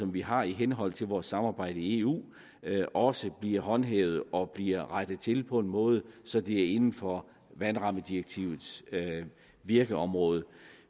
vi har i henhold til vores samarbejde i eu også bliver håndhævet og at det bliver rettet til på en måde så det er inden for vandrammedirektivets virkeområde